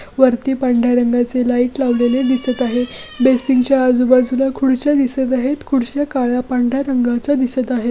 वरती पांढर्‍या रंगाचे लाइट लावलेले दिसत आहे बेसिन च्या आजू-बाजूला खुर्च्या दिसत आहेत खुर्च्या काळ्या पांढर्‍या रंगाच्या दिसत आहेत.